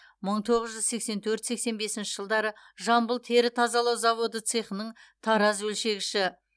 мың тоғыз жүз сексен төрт сексен бесінші жылдары жамбыл тері тазалау заводы цехының тараз өлшегіші